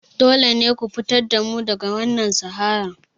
Dole ne ku fitar da mu daga wannan saharar!